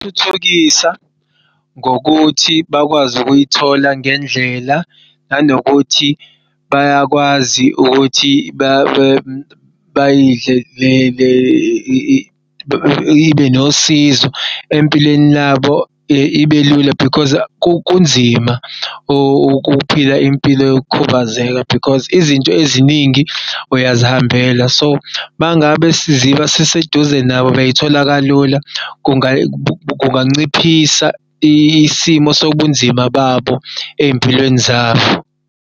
Ukuthuthukisa ngokuthi bakwazi ukuyithola ngendlela nanokuthi bayakwazi ukuthi ibe nosizo empilweni labo ibelula because kunzima ukuphila impilo yokukhubazeka because izinto eziningi uyazihambela so mangabe siziba siseduze nabo bayithola kalula kunganciphisa isimo sobunzima babo ey'mpilweni zabo.